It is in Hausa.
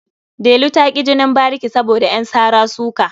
Delu ta ƙi jinin bariki saboda ƴan sara-suka.